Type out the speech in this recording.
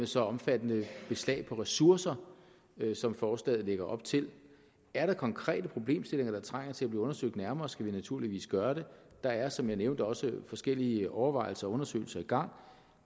så omfattende beslag på ressourcer som forslaget lægger op til er der konkrete problemstillinger der trænger til at blive undersøgt nærmere skal vi naturligvis gøre det der er som jeg nævnte også forskellige overvejelser og undersøgelser i gang